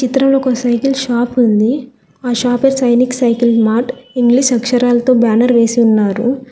చిత్రంలో ఒక cycle shop ఉంది ఆ షాప్ పై సైనిక్ సైకిల్ మార్ట్ ఇంగ్లీష్ అక్షరాలతో బ్యానర్ వేసి ఉన్నారు.